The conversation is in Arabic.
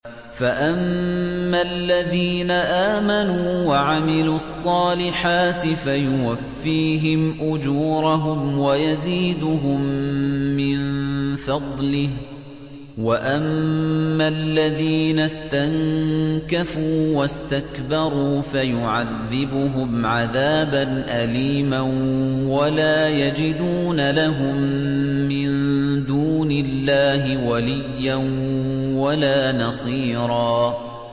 فَأَمَّا الَّذِينَ آمَنُوا وَعَمِلُوا الصَّالِحَاتِ فَيُوَفِّيهِمْ أُجُورَهُمْ وَيَزِيدُهُم مِّن فَضْلِهِ ۖ وَأَمَّا الَّذِينَ اسْتَنكَفُوا وَاسْتَكْبَرُوا فَيُعَذِّبُهُمْ عَذَابًا أَلِيمًا وَلَا يَجِدُونَ لَهُم مِّن دُونِ اللَّهِ وَلِيًّا وَلَا نَصِيرًا